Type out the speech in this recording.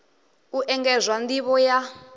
u engedzwa nd ivho ya